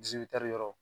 yɔrɔ